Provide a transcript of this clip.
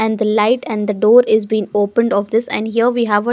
And the light and the door is being opened of this and here we have a --